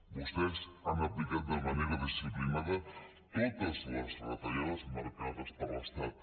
vostès han aplicat de manera disciplinada totes les retallades marcades per l’estat